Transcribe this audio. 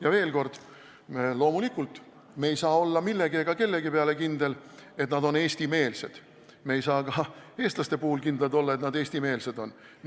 Ja veel kord: loomulikult me ei saa olla kellegi peale kindlad, et nad on eestimeelsed, me ei saa ka eestlaste puhul kindlad olla, et nad eestimeelsed on.